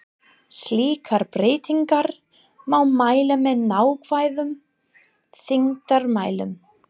Slíkar breytingar má mæla með nákvæmum þyngdarmælum.